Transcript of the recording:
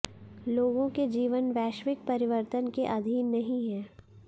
लोगों के जीवन वैश्विक परिवर्तन के अधीन नहीं है